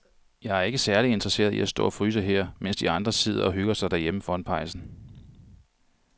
Jeg er ikke særlig interesseret i at stå og fryse her, mens de andre sidder og hygger sig derhjemme foran pejsen.